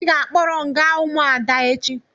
Ị ga-akpọrọ m gaa ụmụada echi.